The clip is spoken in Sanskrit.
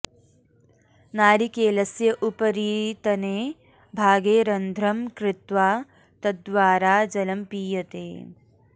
नारिकेलस्य उपरितने भागे रन्ध्रं कृत्वा तद्द्वारा जलं पीयते